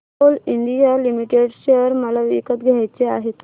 Coal India limited share मला विकत घ्यायचे आहेत